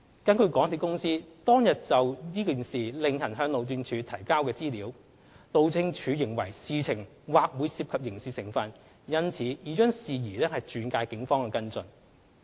根據港鐵公司當天就此事另行向路政署提交的資料，路政署認為事情或會涉及刑事成分，因此已將事宜轉介警方跟進。